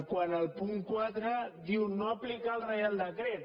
quant al punt quatre diu no aplicar el reial decret